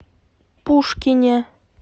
пушкине